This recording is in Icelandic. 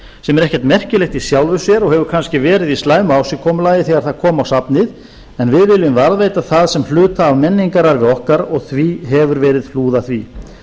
er ekkert merkilegt í sjálfu sér og hefur kannski verið í slæmu ásigkomulagi þegar það kom á safnið en við viljum varðveita það sem hluta af menningararfi okkar og því hefur verið hlúð að því